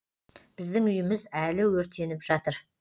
біздің үйіміз әлі өртеніп жатыр